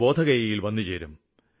ബോധഗയയില് വന്നുചേരും